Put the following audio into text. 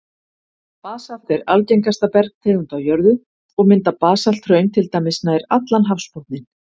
Basalt er algengasta bergtegund á jörðu, og mynda basalthraun til dæmis nær allan hafsbotninn.